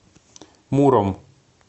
муром